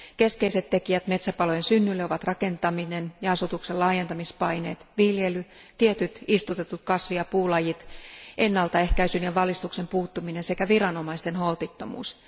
Keskeiset tekijät metsäpalojen synnylle ovat rakentaminen ja asutuksen laajentamispaineet, viljely, tietyt istutetut kasvi ja puulajit, ennaltaehkäisyn ja valistuksen puuttuminen sekä viranomaisten holtittomuus.